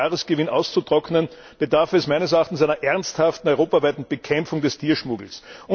EUR Jahresgewinn auszutrocknen, bedarf es meines Erachtens einer ernsthaften europaweiten Bekämpfung des Tierschmuggels.